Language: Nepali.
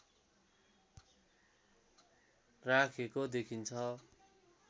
राखेको देखिन्छ